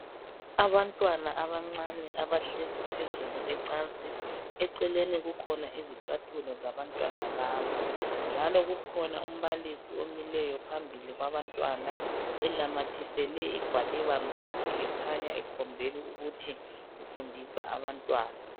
Abantwana abancane abahlezi phezulu kwecansi. Eceleni kukhona izicathulo zabantwana laba. Njalo kukhona umbalisi omileyo phambili kwabantwana enamathisele igwaliba mduli ekhanya ekhombela ukuthi ufundisa abantwana.